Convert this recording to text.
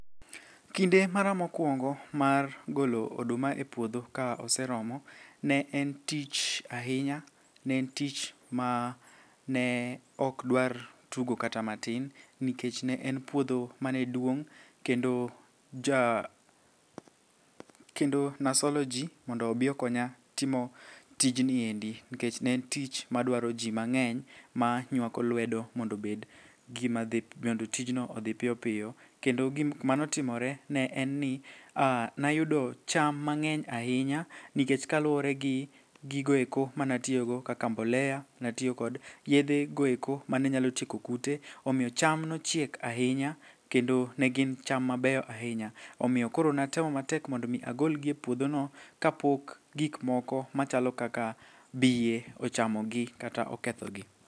Kinde mara mokwongo mar golo oduma e puodho ka oseromo ne en tich ahinya, ne en tich mane okdwar tugo kata matin nikech ne en puodho mane duong' kendo nasolo ji mondo obi okonya timo tijni endi nikech ne en yich madwaro ji mang'eny manywako lwedo mondo tijni odhi piyopiyo kendo gimanotimore ne en ni nayudo cham mang'eny ahinya nikech kaluwore gi gigoeko manatiyogo kaka mbolea, natiyo kod yedhego eko manenyalo tieko kute omioyo cham nochiek ahinya kendo ne gin cham mabeyo ahinya. Omiyo koro natemo matek mondo omi agolgi e puodhono kapok gikmoko machalo kaka bie ochamogi kata okethogi.